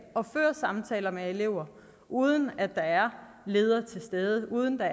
og føre samtaler med elever uden at der er ledere til stede uden at